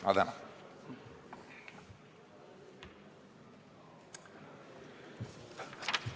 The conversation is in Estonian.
Ma tänan!